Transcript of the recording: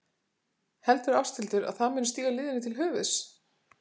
Heldur Ásthildur að það muni stíga liðinu til höfuðs?